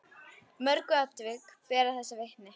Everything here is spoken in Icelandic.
Mörg atvik bera þess vitni.